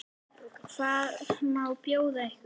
Hvað má bjóða ykkur?